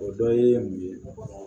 O dɔ ye mun ye